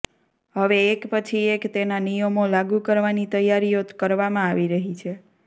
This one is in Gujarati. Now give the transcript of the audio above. હવે એક પછી એક તેના નિયમો લાગુ કરવાની તૈયારીઓ કરવામાં આવી રહી છે